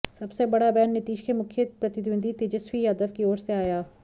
सबसे बड़ा बयान नीतिश के मुख्य प्रतिद्वंदी तेजस्वी यादव की ओर से आया